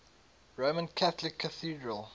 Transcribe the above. roman catholic cathedral